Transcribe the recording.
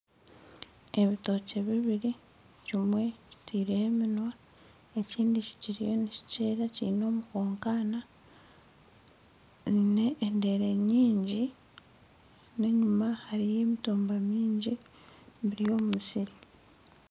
Ebitookye bibiri kimwe kitaireho eminywa ekindi kikiriyo nikimera kyine omukankaana byine endeere nyingi n'enyima hariyo emitumba myingi biri omu musiri